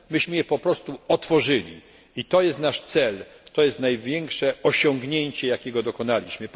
Myśmy po prostu otworzyli granice i to jest nasz cel, to jest największe osiągnięcie, jakiego dokonaliśmy.